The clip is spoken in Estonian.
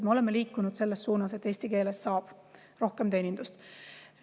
Me oleme liikunud selles suunas, et eesti keeles saab rohkem teenindust.